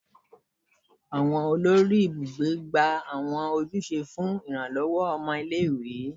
Awọn olori ibugbe gba awọn ojuse fun iranlọwọ ọmọ ile-iwe